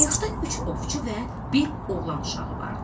Qayıqda üç ovçu və bir oğlan uşağı vardı.